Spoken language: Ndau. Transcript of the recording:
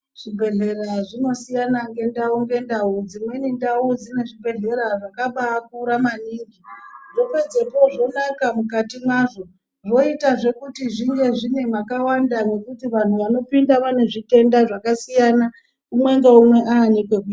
Zvibhehlera zvinosiyana ndau ngendau. Dzimweni ndau dzine zvibhehleya zvakabakura maningi zvapedzepo zvonaka mukati mwazvo moitazve mwakawanda mwekuti vantu vanopinda vane zvitenda umwe ngaumwe ane pekuenda.